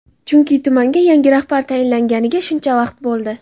Chunki tumanga yangi rahbar tayinlanganiga shuncha vaqt bo‘ldi.